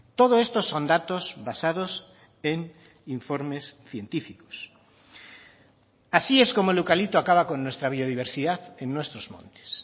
todo esto son datos basados en informes científicos así es como el eucalipto acaba con nuestra biodiversidad en nuestros montes